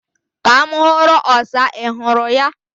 Ka m huru osa. Ị hụrụ ya?